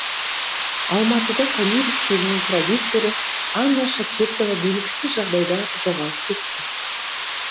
алматыда томирис фильмінің продюсері анна чакиртова белгісіз жағдайда жоғалып кетті